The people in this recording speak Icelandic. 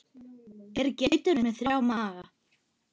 Eru geitur með þrjá maga?